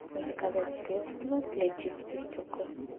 заказать средство для чистки стекол